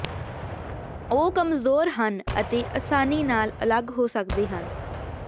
ਉਹ ਕਮਜ਼ੋਰ ਹਨ ਅਤੇ ਅਸਾਨੀ ਨਾਲ ਅਲੱਗ ਹੋ ਸਕਦੇ ਹਨ